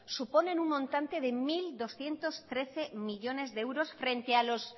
suponen un montante de mil doscientos trece millónes de euros frente a los